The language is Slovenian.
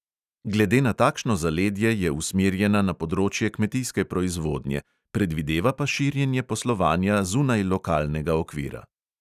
Glede na takšno zaledje je usmerjena na področje kmetijske proizvodnje, predvideva pa širjenje poslovanja zunaj lokalnega okvira.